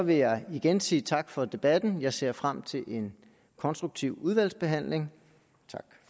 vil jeg igen sige tak for debatten jeg ser frem til en konstruktiv udvalgsbehandling tak